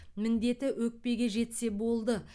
міндеті өкпеге жетсе болды